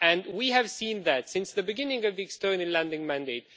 we have seen that since the beginning of the External Lending Mandate.